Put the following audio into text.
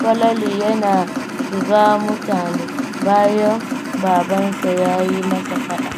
Falalu yana shiga mutane, bayan babansa ya yi masa faɗa.